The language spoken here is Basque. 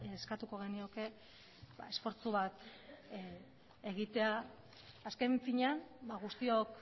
eskatuko genioke esfortzu bat egitea azken finean guztiok